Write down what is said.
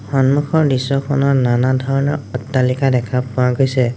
সন্মুখৰ দৃশ্যখনত নানা ধৰণৰ অট্টালিকা দেখা পোৱা গৈছে।